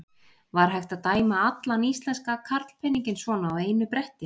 Var hægt að dæma allan íslenska karlpeninginn svona á einu bretti?